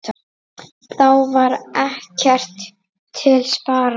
Þá var ekkert til sparað.